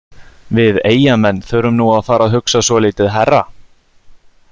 Við Eyjamenn þurfum nú að fara að hugsa svolítið hærra.